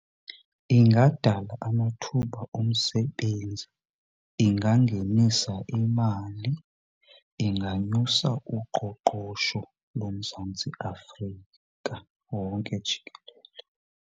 Ingadala amathuba omsebenzi, ingangenisa imali, inganyusa uqoqosho loMzantsi Afrika wonke jikelele.